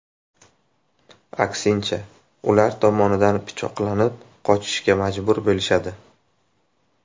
Aksincha, ular tomonidan pichoqlanib, qochishga majbur bo‘lishadi.